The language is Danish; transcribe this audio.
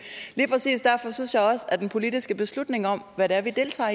at den politiske beslutning om hvad det er vi deltager